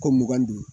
Kɔ mugan ni duuru